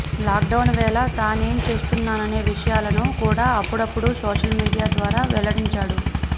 lockdown వేళ తానేం చేస్తున్నాననే విషయాలను కూడా అప్పుడప్పుడూ సోషల్ మీడియా ద్వారా వెల్లడించాడు